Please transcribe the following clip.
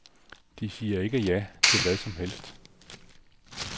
De siger ikke ja til hvad som helst.